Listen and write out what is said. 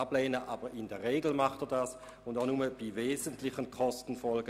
Er tut dies vielmehr «in der Regel», und auch nur «bei wesentlichen Kostenfolgen».